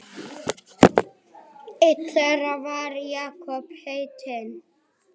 Einn þeirra var Jakob heitinn